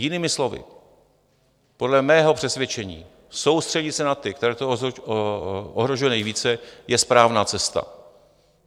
Jinými slovy, podle mého přesvědčení soustředit se na ty, které to ohrožuje nejvíce, je správná cesta.